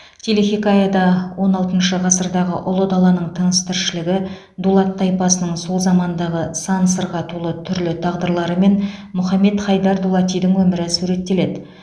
телехикаяда он алтыншы ғасырдағы ұлы даланың тыныс тіршілігі дулат тайпасының сол замандағы сан сырға толы түрлі тағдырлары мен мұхаммед хайдар дулатидың өмірі суреттеледі